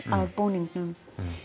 af búningnum